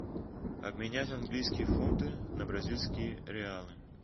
обменять английские фунты на бразильские реалы